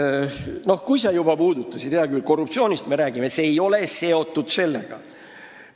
Aga kui sa seda teemat juba puudutasid, siis hea küll, räägime korruptsioonist, ehkki see ei ole selle eelnõu teema.